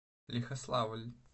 лихославль